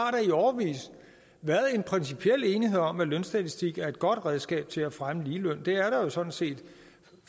i årevis været en principiel enighed om at lønstatistik er et godt redskab til at fremme ligeløn det er der sådan set